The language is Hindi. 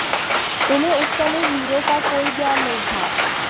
तुम्हें उस समय हीरों का कोई ज्ञान नहीं था